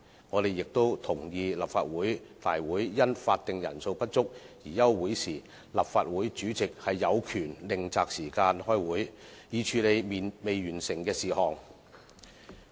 我們亦同意，立法會會議因法定人數不足而休會時，立法會主席有權另擇時間開會，以處理未完成的事項。